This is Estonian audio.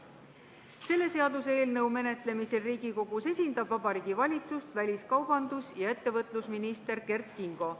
Selle seaduseelnõu menetlemisel Riigikogus esindab Vabariigi Valitsust väliskaubandus- ja infotehnoloogiaminister Kert Kingo.